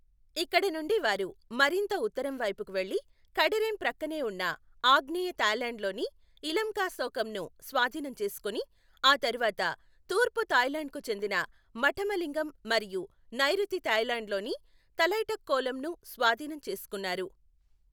ఇక్కడ నుండి వారు మరింత ఉత్తరం వైపుకు వెళ్లి కడరేం ప్రక్కనే ఉన్న ఆగ్నేయ థాయ్లాండ్లోని ఇలంకాశోకంను స్వాధీనం చేసుకుని, ఆ తర్వాత తూర్పు థాయ్లాండ్కు చెందిన మఠమలింగం మరియు నైరుతి థాయ్లాండ్లోని తలైటక్కోలమ్ను స్వాధీనం చేసుకున్నారు.